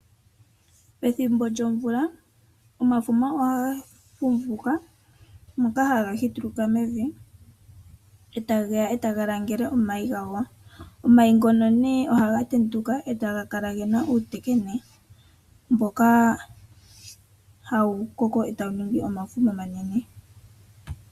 Pethimbo lyomvula omafuma ohaga fumvuka, ano haga hituluka mevi, etageya etaga langele omayi gago. Omayi ngono nee ohaga tenduka etaga kala gena uutekene, mboka hawu koko etawu ningi omafuma omanene.